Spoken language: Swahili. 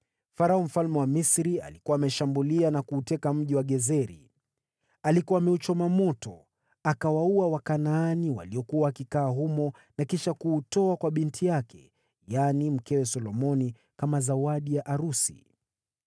(Farao mfalme wa Misri alikuwa ameushambulia na kuuteka mji wa Gezeri. Alikuwa ameuchoma moto. Akawaua Wakanaani waliokuwa wakikaa humo na kisha kuutoa kwa binti yake, yaani mkewe Solomoni, kama zawadi ya arusi.